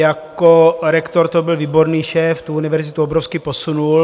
Jako rektor to byl výborný šéf, tu univerzitu obrovsky posunul.